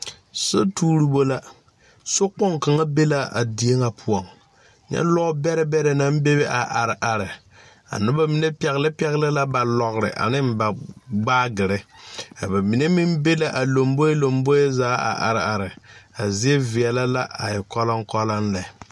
So tuuribo la sokpoŋ kaŋa be la a die nyɛ poɔŋ nyɛ lɔɔ bɛrɛ bɛrɛ naŋ bebe a are are a nobɔ mine pɛgle pɛgle ba lɔgre aneŋ ba baagyirre a ba mine meŋ be la a lomboe lomboeŋ zaa a are are a zie veɛlɛ la a e kɔlɔŋkɔlɔŋ lɛ.